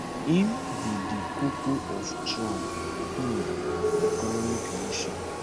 im be di koko of trump um economic vision